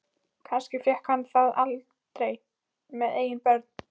Kannski fékk hann það aldrei með eigin börn.